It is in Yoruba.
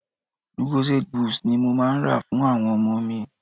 Lucozade boost ni mo máa ń rà fún àwọn ọmọ mi.